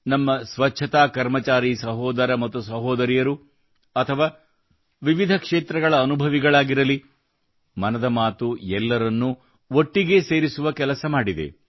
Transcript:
ನಮ್ಮ ಸ್ವಚ್ಛತಾ ಕರ್ಮಚಾರಿ ಸಹೋದರ ಮತ್ತು ಸಹೋದರಿಯರು ಅಥವಾ ವಿವಿಧ ಕ್ಷೇತ್ರಗಳ ಅನುಭವಿಗಳಾಗಿರಲಿ ಮನದ ಮಾತು ಎಲ್ಲರನ್ನೂ ಒಟ್ಟಿಗೆ ಸೇರಿಸುವ ಕೆಲಸ ಮಾಡಿದೆ